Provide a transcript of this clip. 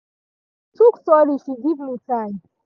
she tok sorry she give me time.